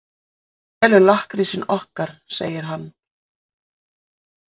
Hún selur lakkrísinn okkar, segir hann.